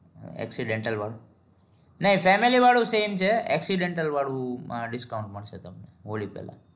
accidental વાળું નહિ family વાળું સામે છે accidental વાળું માં discount માં છે તમને હોળી પેલા